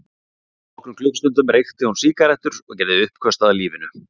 Fyrir nokkrum klukkustundum reykti hún sígarettur og gerði uppköst að lífinu.